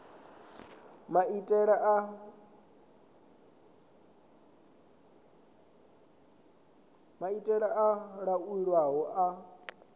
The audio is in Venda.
ndi maitele a laulwaho a